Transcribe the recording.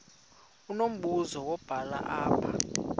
unombuzo wubhale apha